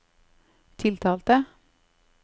tiltalte